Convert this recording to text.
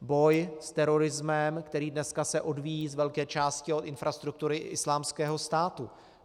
Boj s terorismem, který se dneska odvíjí z velké části od infrastruktury Islámského státu.